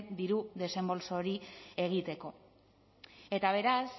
diru desembolso hori egiteko eta beraz